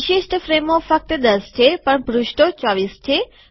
વિશિષ્ટ ફ્રેમો ફક્ત ૧૦ છે પણ પુષ્ઠો ૨૪ છે